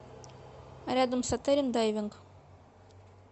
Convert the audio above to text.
рядом с отелем дайвинг